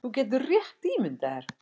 Þú getur rétt ímyndað þér